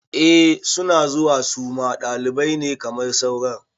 Eh suna zuwa suma ɗalibai ne kamar sauran